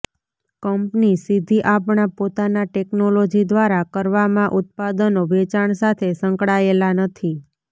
company સીધી આપણા પોતાના ટેકનોલોજી દ્વારા કરવામાં ઉત્પાદનો વેચાણ સાથે સંકળાયેલા નથી